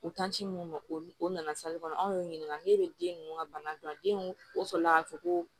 U mun u nana kɔnɔ anw y'u ɲininka n'u be den ninnu ka bana dɔn den o sɔrɔ la ka fɔ ko